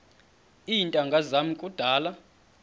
iintanga zam kudala